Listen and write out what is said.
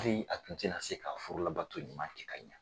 Hali a tun tɛ na se ka furula bato ɲuman kɛ ka ɲɛ.